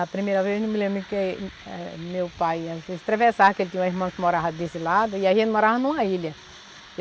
A primeira vez que meu pai, às vezes atravessava, porque ele tinha uma irmã que morava desse lado, e aí ele morava em uma ilha.